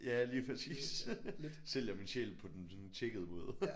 Ja lige præcis sælger min sjæl på den sådan tjekkede måde